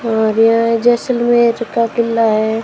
और यह जैसलमेर का किला हैं।